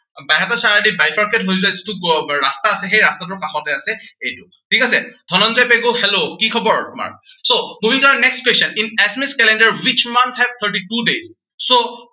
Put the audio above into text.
বাইহাটা চাৰিআলিত by pass হৈ যোৱা যিটো আহ ৰাস্তা আছে সেই ৰাস্তাটোৰ কাষতে আছে এইটো। ঠিক আছে। ধনঞ্জয় পেগু hello কি খবৰ তোমাৰ। so moving to our next question, in Assamese calender which month have thirty two days?